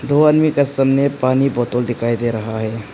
दो आदमी का सामने पानी बोतल दिखाई दे रहा है।